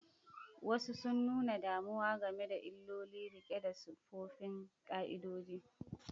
Wasu sun nuna damuwa game da illolin riko da tsoffin ƙa'idodi.